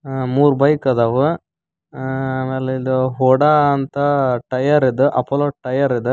ಹ-ಹ ಮೂರು ಬೈಕ್ ಅದಾವ ಅ-ಅ ಆ-ಆ ಆಮೇಲ ಇದು ಹೊಡ ಅಂತ ಟೈಯರ್ ಅದ ಅಪ್ಪೋಲೋ ಟೈಯರ ಅದ.